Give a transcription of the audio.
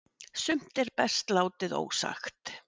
Sumt er best látið ósagt